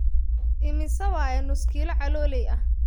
Immisa waye nuskilo caloley ahh